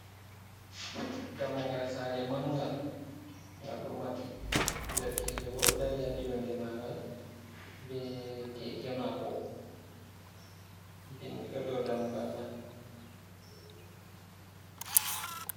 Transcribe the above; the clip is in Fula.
Dammugal sare mangal, ngal do mabbi, derkejo bo do dari ha yonde ma ngal bee keke mako, bingi do dammugal man.